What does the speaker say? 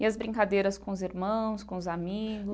E as brincadeiras com os irmãos, com os amigos?